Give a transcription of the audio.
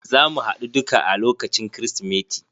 Zamu haɗu duka a lokacin krismati.